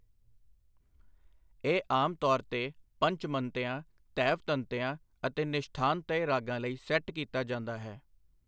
ਇਹ ਆਮ ਤੌਰ ਉੱਤੇ ਪੰਚਮੰਤਿਆ, ਧੈਵਤੰਤਿਆ ਅਤੇ ਨਿਸ਼ਠਾਂਤਯ ਰਾਗਾਂ ਲਈ ਸੈੱਟ ਕੀਤਾ ਜਾਂਦਾ ਹੈ।